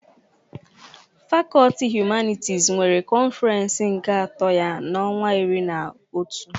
Fakọlti Humanitis nwere kọnfirens nke ato ya n'ọnwa iri na otu.